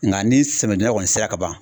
Nga ni samiyadonda kɔni sera ka ban